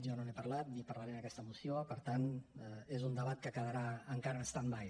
jo no n’he parlat ni en parlaré en aquesta moció per tant és un debat que quedarà encara en standby